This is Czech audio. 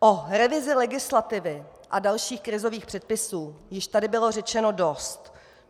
O revizi legislativy a dalších krizových předpisů již tady bylo řečeno dost.